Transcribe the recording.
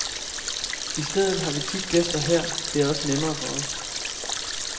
I stedet har vi tit gæster her, det er også nemmere for os.